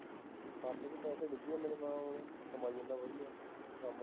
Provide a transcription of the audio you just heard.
ਹੱਥ ਚ ਪੈਸੇ ਡਿੱਗੀ ਜਾਂਦੇ ਨੀ ਨਾਲ ਉਹ ਕਮਾਈ ਜਾਂਦਾ ਵਧੀਆ ਕੰਮ